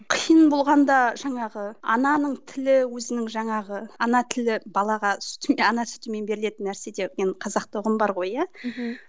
қиын болғанда жаңағы ананың тілі өзінің жаңағы ана тілі балаға сүтімен ана сүтімен берілетін нәрсе деген қазақта ұғым бар ғой иә мхм